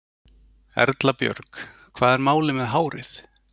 Erla Björg: Hvað er málið með hárið?